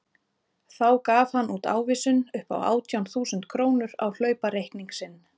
Þá gaf hann út ávísun upp á átján þúsund krónur á hlaupareikning sinn.